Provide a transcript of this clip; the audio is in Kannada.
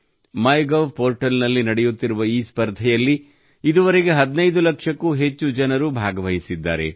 ಮೈಗೋವ್ ಪೋರ್ಟಲ್ನಲ್ಲಿ ನಡೆಯುತ್ತಿರುವ ಈ ಸ್ಪರ್ಧೆಯಲ್ಲಿ ಇದುವರೆಗೆ 15 ಲಕ್ಷಕ್ಕೂ ಹೆಚ್ಚು ಜನರು ಭಾಗವಹಿಸಿದ್ದಾರೆ